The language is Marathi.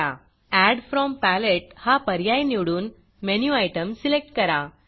एड फ्रॉम Paletteएड फ्रॉम पॅलेट हा पर्याय निवडून मेनू Itemमेनु आइटम सिलेक्ट करा